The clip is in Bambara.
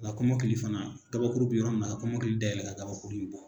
Ŋa kɔmɔkili fana gabakuru be yɔrɔ min na ka kɔmɔkili da yɛlɛ ka gabakuru bɔ.